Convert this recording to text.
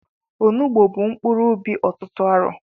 Onugbu bụ mkpuru ubi ọtụtụ arọ